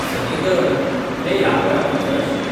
सनी गरड हे ह्यावेळार हजर आशिल्ले.